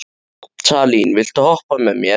Salín, viltu hoppa með mér?